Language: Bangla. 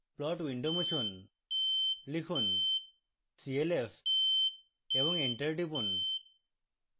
plot window মুছুন